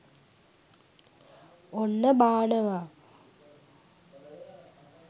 ඔන්න බානවා